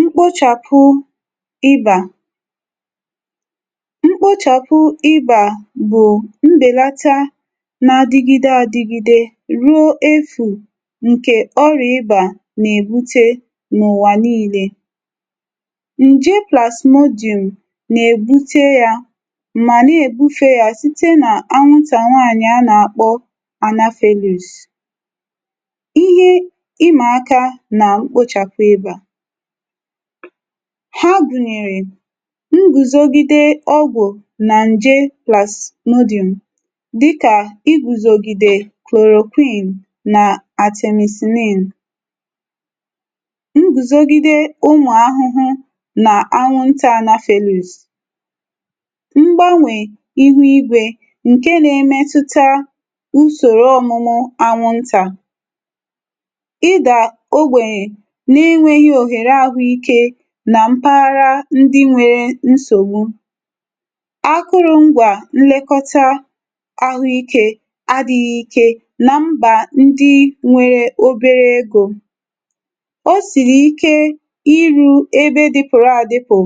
Mkpochàpụ ịbà: mkpochàpụ ịbà bụ̀ mbèlata nà-adịgide adịgide ruo efu̇ ǹkè ọra ịbà nà-èbute n’ụ̀wà niilė. Ṅje PlasmodIum nà-èbute yȧ mà na-èbufe yȧ site nà anwụtà nwanyì a nà-àkpọ Anopheles. Ihe ịmaka na mkpochàpụ ịbà; ha gùnyèrè ngùzògìdè ọgwụ̀ na nje PlasmodIum, dịkà i guzògìdè chloroquine nà Artemisinin. Ngùzògìdè ụmụ̀ ahụhụ nà anwụnta Anopheles. Mgbanwè ihu igwè ǹke nȧ-emetuta ùsòrò ọ̀mụmụ anwụntà. Ịda ogbenye nà enweghi nà ohere ahụikė nà mpaghara ndi nwere nsògbu. Akụrụ̇ ngwà nlekọta ahụikė adighi̇ ikė nà mbà ndi nwere obere egȯ. Ọ sìri ike iru̇ ebe dịpụ̀rụ adịpụ̀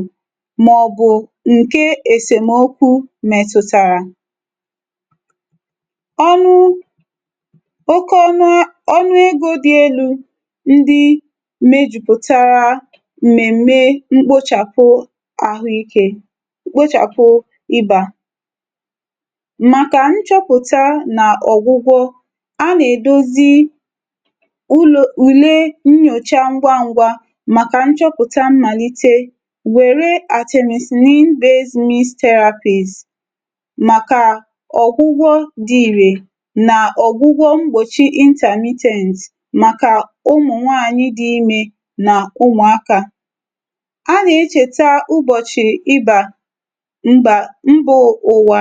mà ọ̀bụ̀ ǹke èsèmokwu mètụ̇tàrà. Ọnụ... oke ọnụ, ọnụ egȯ dị elu̇ ndi mechuputara mmemme mkpochàpụ àhụikė: mkpochàpụ ibà; màkà nchọpụ̀ta nà ọ̀gwụgwọ, a nà-èdozi ụlọ ulè nnyòcha ngwa ngwȧ màkà nchọpụ̀ta mmàlite, wère Artemisinin-based means therapies, màkà ọ̀gwụgwọ dị ìrè nà ọ̀gwụgwọ mgbòchi intermittent màkà ụmụ̀ nwaànyị dị imė nà ụmụaka. A nà-echè taa ụbọ̀chị̀ ibà mbà mbò ụ̀wà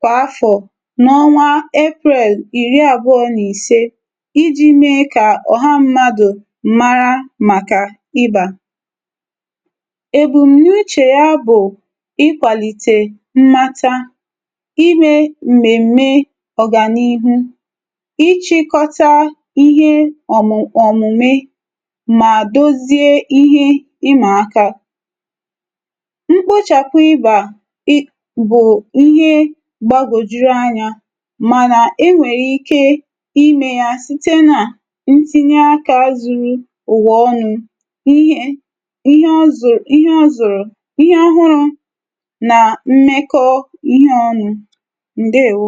kwà afọ̀ n’ọnwa April ìri àbụọ̇ na-ise iji̇ mee kà ọ̀ha mmadụ̀ mara màkà ibà. Ebù n’uchè ya bụ̀ ikwàlìtè mmata, imė m̀mème ọ̀gànihu, ichikọta ihe òmù òmùmè ma dozie ihe imaka. Mkpochàpụ ịbà ị bụ ihe gbagwojuru anya ma na enwere ike imeya site na ntinye aka zuru uwa onu. ihe... ihe ọzuru, ihe ọzuru ihe ohọrọ na mmeko ihe ọnụ. Ndewo.